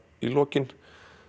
í lokin